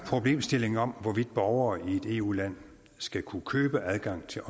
problemstillingen om hvorvidt borgere i et eu land skal kunne købe adgang til